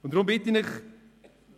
Ich bitte Sie